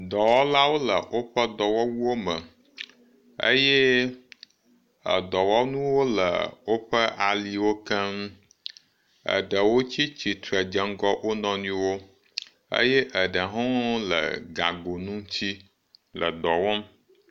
dɔwɔlawo le woƒe dɔwɔwuwo me eye wóƒe dɔwɔnuwo le woƒe aliwo keŋ eɖewo tsitsitre edzeŋgɔ wonɔniwo eye eɖehɔ le gago nutsu edɔwɔm